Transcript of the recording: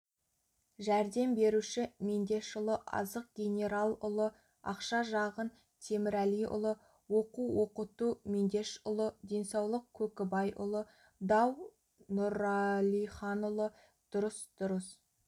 жәрдем беруші мендешұлы азық генералұлы ақша жағын темірәлиұлы оқу-оқыту мендешұлы денсаулық көкібайұлы дау нұралиханұлы дұрыс дұрыс